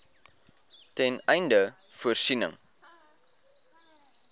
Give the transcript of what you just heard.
ten einde voorsiening